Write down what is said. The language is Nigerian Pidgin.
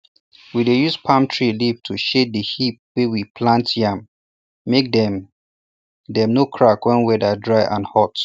we dey use palm tree leaf to shade the heap wey we plant yam make dem dem no crack wen weather dry and hot